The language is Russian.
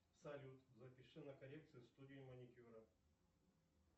салют запиши на коррекцию в студию маникюра